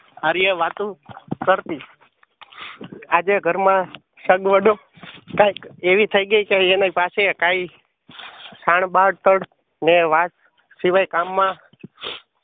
આરિયા વાતું કરતી. આજે ઘરમાં સગવડ કાંઈક એવી થઈ ગય કે એને પાસે કાંઈ ખાંડબાટાડ ને વાત સિવાય કામ માં